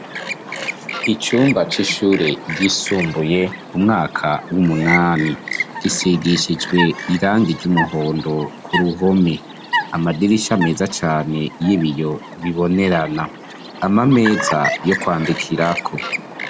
Icumba c'ishure ryisumbuye umwaka w'umunani, gisigishijwe irangi ryumuhondo kuruhome, amadirisha meza cane yibiyo bibonerana, amameza yo kwandikirako.